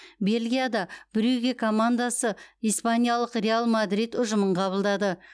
бельгияда брюгге командасы испаниялық реал мадрид ұжымын қабылдады